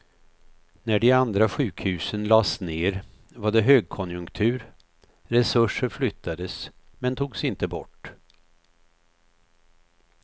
När de andra sjukhusen lades ned var det högkonjunktur, resurser flyttades men togs inte bort.